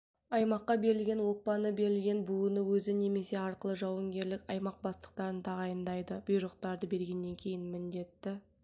аймаққа берілген оқпаны берілген буыны өзі немесе арқылы жауынгерлік аймақ бастықтарын тағайындайды бұйрықтарды бергеннен кейін міндетті